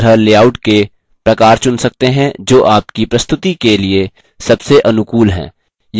आप इसी तरह लेआउट के प्रकार चुन सकते हैं जो आपकी प्रस्तुति के लिए सबसे अनुकूल है